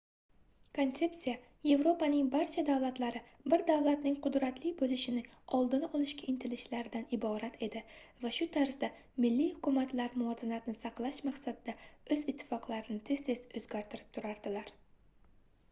konsepsiya yevropaning barcha davlatlari bir davlatning qudratli boʻlishing oldini olishga intilishlaridan iborat edi va shu tarzda milliy hukumatlar muvozanatni saqlash maqsadida oʻz ittifoqlarini tez-tez oʻzgartirib turardilar